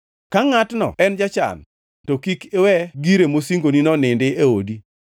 Ka ngʼatno en jachan, to kik iwe gire mosingonino nindi e odi.